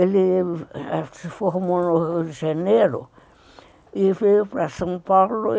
Ele se formou no Rio de Janeiro e veio para São Paulo.